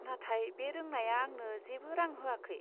नाथाय बे रोंनाया आंनो जेबो रां होआखै।